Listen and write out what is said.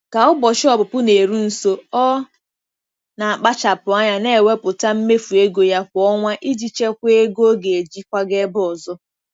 Ka ụbọchị ọpụpụ na-eru nso, ọ na-akpachapụ anya na-ewepụta mmefu ego ya kwa ọnwa iji chekwaa ego ọ ga-eji kwaga ebe ọzọ.